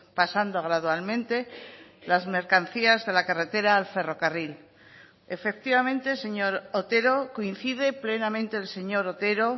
pasando gradualmente las mercancías de la carretera al ferrocarril efectivamente señor otero coincide plenamente el señor otero